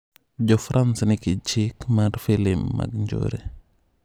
Jofrans nigi chik mar filim mag njore.